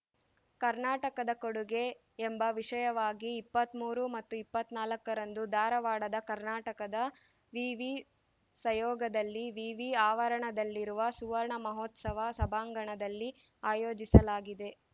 ಕರ್ನಾಟಕದ ಕೊಡುಗೆ ಎಂಬ ವಿಷಯವಾಗಿ ಇಪ್ಪತ್ತ್ ಮೂರು ಮತ್ತು ಇಪ್ಪತ್ತ್ ನಾಲ್ಕರಂದು ಧಾರವಾಡದ ಕರ್ನಾಟಕ ವಿವಿ ಸಯೋಗದಲ್ಲಿ ವಿವಿ ಆವರಣದಲ್ಲಿರುವ ಸುವರ್ಣ ಮಹೋತ್ಸವ ಸಭಾಂಗಣದಲ್ಲಿ ಆಯೋಜಿಸಲಾಗಿದೆ